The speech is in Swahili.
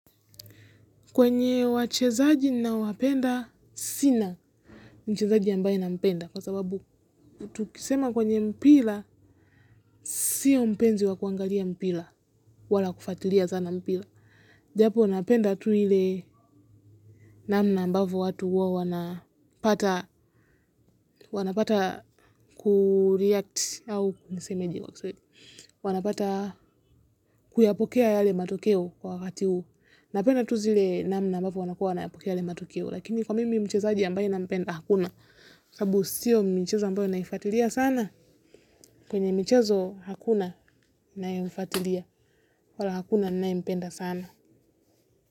Kwenye wachezaji ninowapenda, sina mchezaji ambaye nampenda, kwa sababu, tukisema kwenye mpira, sio mpenzi wa kuangalia mpira, wala kufuatilia sana mpira. Japo, napenda tu ile namna ambavyo watu huwa wanapata, wanapata kureact au nisemeje. Wanapata kuyapokea yale matokeo kwa wakati huu. Napenda tu zile namna ambavyo wanakuwa wanayapokea yale matokeo. Lakini kwa mimi mchezaji ambaye nampenda hakuna. Sababu sio michezo ambayo naifuatilia sana. Kwenye michezo hakuna ninayemfuatilia. Kwa hilo hakuna ninayempenda sana.